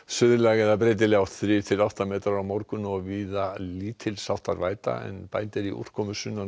eða breytileg átt þrjú til átta metrar á morgun og víða lítils háttar væta en bætir í úrkomu sunnan og